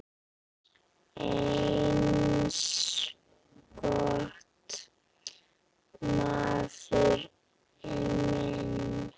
Eins gott, maður minn